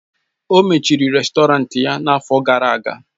O mechiri rèstọrantị ya n'afọ gara aga.